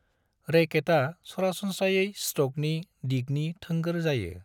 रैकेटा सरासनस्रायै स्ट्रोकनि दिगनि थोंगोर जायो।